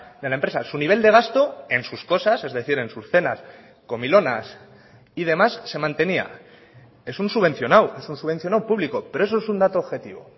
de la empresa su nivel de gasto en sus cosas es decir en sus cenas comilonas y demás se mantenía es un subvencionado es un subvencionado público pero eso es un dato objetivo